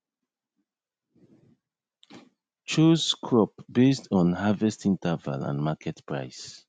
chose crop basd on harvest interval and market price